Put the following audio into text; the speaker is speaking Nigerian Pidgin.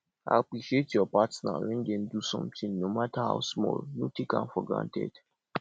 appreciate your partner when dem do something no matter how small no take am for granted